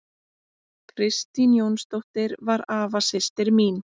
Kristín Jónsdóttir var afasystir mín.